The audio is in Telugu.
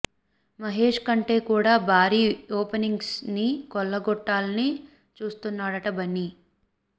మహేష్ కంటే కూడా భారీ ఓపెనింగ్స్ ని కొల్లగొట్టాలని చూస్తున్నాడట బన్నీ